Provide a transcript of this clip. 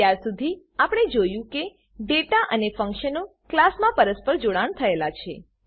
અત્યાર સુધી આપણે જોયું છે કે ડેટા અને ફંક્શનો ક્લાસમાં પરસ્પર જોડાણ થયેલા છે